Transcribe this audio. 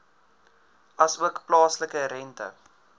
asook plaaslike rente